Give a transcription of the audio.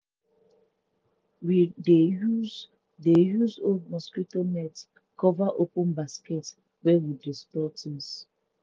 we dey use dey use old mosquito net cover open basket wey we use store things.